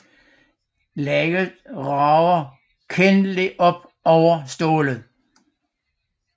Laget rager kendeligt op over stålet